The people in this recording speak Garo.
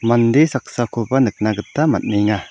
mande saksakoba nikna gita man·enga.